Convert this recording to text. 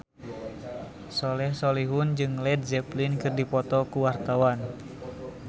Soleh Solihun jeung Led Zeppelin keur dipoto ku wartawan